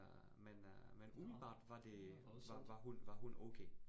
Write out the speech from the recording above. Øh men øh men umiddelbart var det var var hun var hun okay